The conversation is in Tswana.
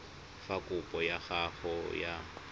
fa kopo ya gago ya